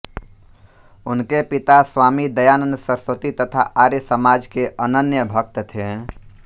उनके पिता स्वामी दयानन्द सरस्वती तथा आर्य समाज के अनन्य भक्त थे